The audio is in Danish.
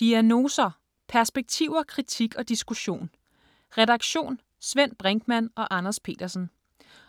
Diagnoser: perspektiver, kritik og diskussion Redaktion: Svend Brinkmann og Anders Petersen.